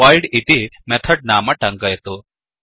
voidइति method नाम टङ्कयतु